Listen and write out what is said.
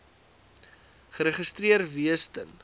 geregistreer wees ten